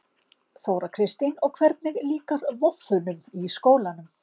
Þóra Kristín: Og hvernig líkar voffunum í skólanum?